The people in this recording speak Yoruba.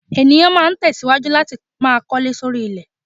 Ènìyàn ma tẹ̀síwájú láti máa kọ́lé sóri ilẹ̀.